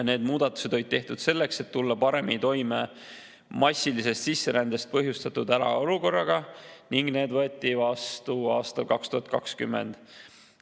Need muudatused olid tehtud selleks, et tulla paremini toime massilise sisserände põhjustatud hädaolukorras, ning need võeti vastu aastal 2020.